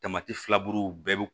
Tamati filaburuw bɛɛ bi